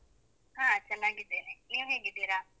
ಹಾ ಚೆನ್ನಾಗಿದ್ದೇನೆ. ನೀವು ಹೇಗಿದ್ದೀರಾ?